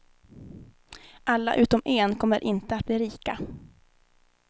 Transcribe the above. Alla utom en kommer inte att bli rika.